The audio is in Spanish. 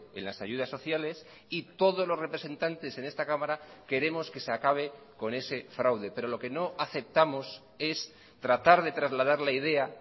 en las ayudas sociales y todos los representantes en esta cámara queremos que se acabe con ese fraude pero lo que no aceptamos es tratar de trasladar la idea